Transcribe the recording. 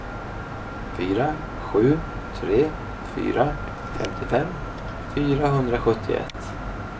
fyra sju tre fyra femtiofem fyrahundrasjuttioett